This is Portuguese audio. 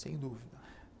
Sem dúvida.